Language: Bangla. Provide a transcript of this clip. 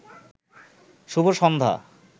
শুভ সন্ধ্যা